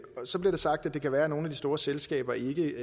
så blev det sagt at det kan være at nogle af de store selskaber ikke